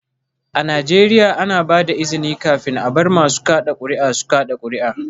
A Najeriya, ana ba da izini kafin a bar masu kada kuri'a su kada kuri'a